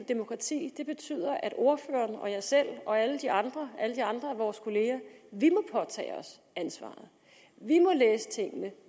demokrati betyder at ordføreren jeg selv og alle de andre af vores kolleger må påtage os ansvaret